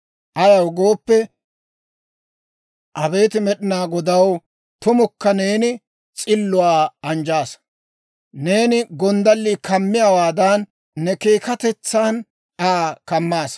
Ayaw gooppe, abeet Med'inaa Godaw, tumukka neeni s'illuwaa anjjaasa. Neeni gonddallii kammiyaawaadan ne keekkatetsan Aa kammaasa.